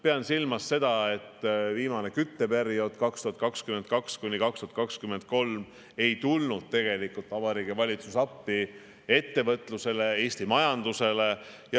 Pean silmas seda, et viimasel kütteperioodil 2022–2023 ei tulnud Vabariigi Valitsus appi Eesti ettevõtlusele ja majandusele.